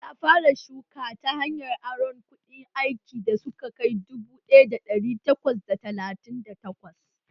Ya fara shuka ta hanyar aron kayan aikin da suka kai dubu ɗaya da ɗari takwas da talatin da takwas